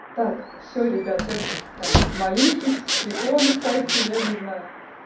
так все ребята это там молитесь иконы ставьте я не знаю